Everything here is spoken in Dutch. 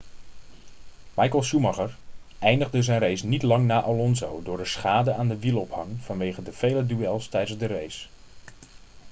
michael schumacher eindigde zijn race niet lang na alonso door de schade aan de wielophanging vanwege de vele duels tijdens de race